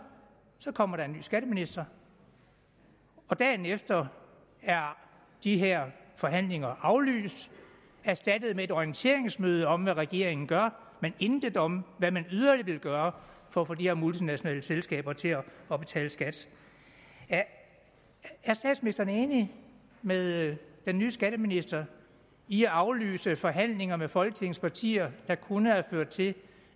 kommer der en ny skatteminister og dagen efter er de her forhandlinger aflyst og erstattet med et orienteringsmøde om hvad regeringen gør men intet om hvad man yderligere vil gøre for at få de her multinationale selskaber til at betale skat er statsministeren enig med den nye skatteminister i at aflyse forhandlinger med folketingets partier der kunne have ført til